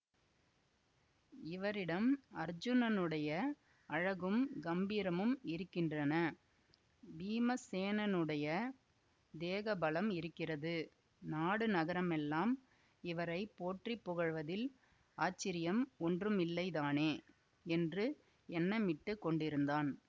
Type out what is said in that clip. இவரிடம் அர்ச்சுனனுடைய அழகும் கம்பீரமும் இருக்கின்றன பீமசேனனுடைய தேக பலம் இருக்கிறது நாடு நகரமெல்லாம் இவரை போற்றி புகழ்வதில் ஆச்சரியம் ஒன்றுமில்லைதானே என்று எண்ணமிட்டுக் கொண்டிருந்தான்